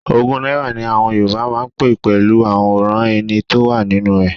Ogún náírà ni àwọn Yorùbá máa ń pé pẹ̀lú àwòrán ẹni tó wà nínú ẹ̀.